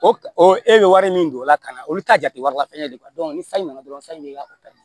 O o e bɛ wari min don o la ka na olu t'a jate wari la fɛnɛ de ni fɛn nana dɔrɔn fɛn min b'e ka o ta